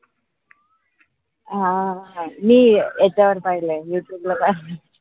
हां मी याच्यावर पाहिलंय यूट्यूब वर पाहिलंय